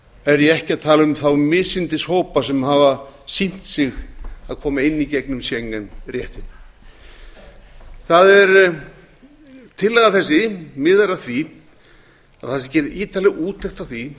er ég ekki að tala um þá misindishópa sem hafa sýnt sig að koma inn í gegnum schengen réttina tillaga þessi miðar að því að gerð sé ítarlegt úttekt á því